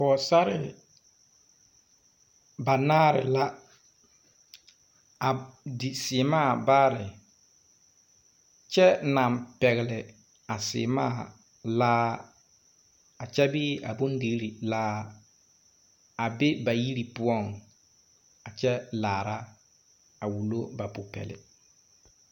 Poɔsarre banaare la a di seɛmaã baare kye nang pɛgli a seɛmaã laare a kye bee. bondirii laare a be ba yiri pou a kye laara a wulo ba puori.